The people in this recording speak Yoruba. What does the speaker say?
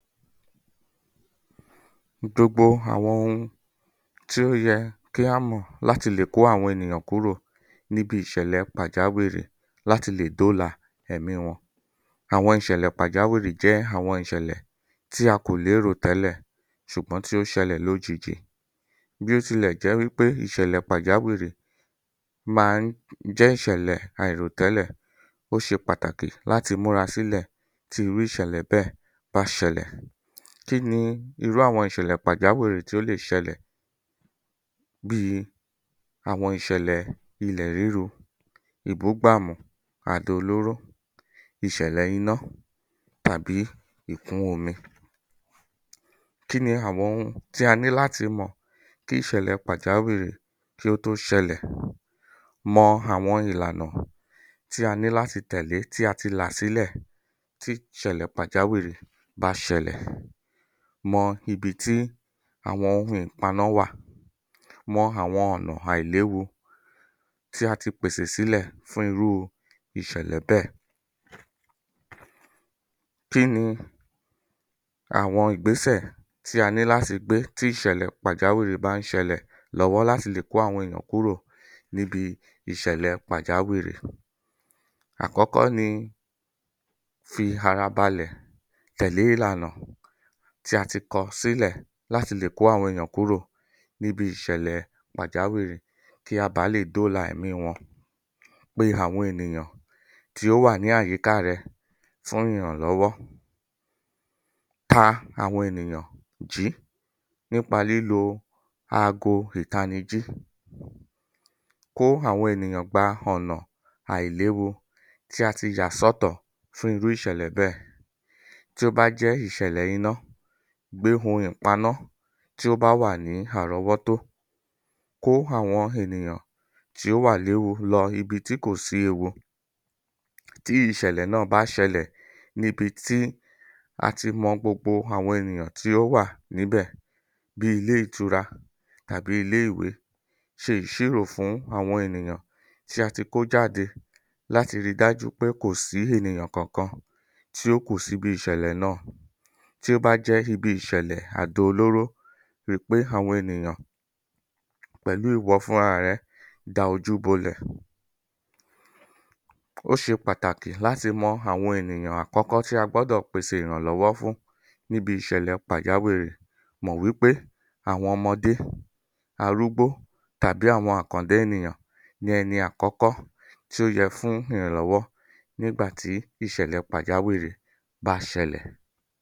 ìjọgbo àwọn ohun tí ó yẹ kí á mọ̀ láti lè kó àwọn ènìyàn kúrò níbi ìṣẹ̀lẹ̀ pàjáwìrì láti lè dóòlà èmí wọn àwọn ìṣẹ̀lẹ̀ pàjáwìrì jẹ́ àwọn ìṣẹ̀lẹ̀ tí a kò lérò tẹ́lẹ̀ ṣùgbọ́n tí ó ṣẹlẹ̀ lójijì bí ó tilẹ̀ jẹ́ wí pé ìṣẹ̀lẹ̀ pàjáwìrì máa ń jẹ́ ìṣẹ̀lẹ̀ àìròtẹ́lẹ̀ ó ṣe pàtàkì láti múra sílẹ̀ tí irú ìṣẹ̀lẹ̀ bẹ́ẹ̀ bá ṣẹlẹ̀ kíni irú àwọn ìṣẹ̀lẹ̀ pàjíwìrì tí ó lè ṣẹlẹ̀ bíi àwọn ìṣẹ̀lẹ̀ ilẹ̀ ríru ìbúgbàmù àdó olóró ìṣẹ̀lẹ̀ iná tàbí ìkún omi kíni àwọn ohun tí a ní láti mọ̀ kí ìṣẹ̀lẹ̀ pàjáwìrì kí ó tó ṣẹlẹ̀ mo àwọn ìlànà tí a ní láti tẹ̀lẹ́ tí a ti là sílẹ̀ tí ìṣẹ̀lẹ̀ pàjáwìrì bá ṣẹlẹ̀ mọ ibi tí àwọn ohun ìpaná wà mọ àwọn ọ̀nà àìléwu tí a ti pèsè sílẹ̀ fún irú ìṣẹ̀lẹ̀ bẹ́ẹ̀ kíni àwọn ìgbésẹ̀ tí a ní láti gbé tí ìṣẹ̀lẹ̀ pàjàwìrì bá ń ṣẹlẹ̀ lọ́wọ́ láti lè kó àwọn èyàn kúrò kúrò níbi ìṣẹ̀lẹ̀ pàjáwìrì àkọ́kọ́ ni fi ara balẹ̀ tẹ̀lé ìlànà tí a ti kọ sílẹ̀ láti lè kó àwọn èèyàn kúrò níbi ìṣẹ̀lẹ̀ pàjáwìrì kí a bàá lè dóòlà ẹ̀mí wọn pe àwọn ènìyàn tí ó wà ní àyíká rẹ fún ìrànlọ́wọ́ ta àwọn ènìyàn jìí nípa lílo aago ìtanijí kó àwọn ènìyàn gba ọ̀nà àìléwu tí a ti yà sọ́tọ̀ fún irú ìṣẹ̀lẹ̀ bẹ́ẹ̀ tí ó bá jẹ́ jẹ́ ìṣẹ̀lẹ̀ iná gbé ohun ìpaná tí ó bà ní àrọ́wọ́- -tó kó àwọn ènìyàn tí pò wà léwu lọ ibi tí kò sí ewu tí ìṣẹ̀lẹ̀ náà bá ṣẹlẹ̀ níbi tí a ti mọ gbogbo àwọn ènìyàn tí ó wà níbẹ̀ bíi ilé ìtura tàbí ilé ìwé ṣe ìṣírò fún àwọn ènìyàn tí a ti kó jáde láti ri dájú pé kò sí ènìyàn kan kan níbi ìṣẹ̀lẹ̀ náà tí ó bá jẹ́ ibi ìṣẹ̀lẹ̀ àdó olóró rí i pé àwọn ènìyàn pẹ̀lú ìwọ fúnra rẹ da ojú bolẹ̀ ó ṣe pàtàkì láti mọ àwọn ènìyàn àkọ́kọ́ tí a gbọ́dọ̀ pèsè ìrànlọ́wọ́ fún níbi ìṣẹ̀lẹ̀ pàjáwìrì mọ̀ wípé àwọn ọmọdé arụ́gbó tàbí àwọn àkàndá ènìyàn ní ẹni àkọ́kọ́ tí ó yẹ fún ìrànlọ́wọ́ nígbà tí ìṣẹ̀lẹ̀ pàjáwìrì bá ṣẹlẹ̀